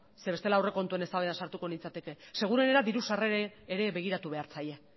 zeren bestela aurrekontuen eztabaidan sartuko nintzateke seguruenera diru sarrerei ere begiratu behar zaie